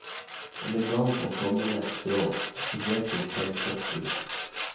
Elegant og sommerlett strå, spesielt til selskapsbruk.